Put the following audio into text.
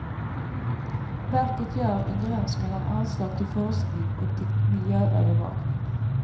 Verket gör en gräns mellan anslag till forskning och till miljöövervakning.